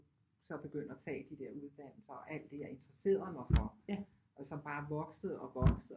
Så begynder at tage de der uddannelser og alt det jeg interesserede mig for som bare voksede og voksede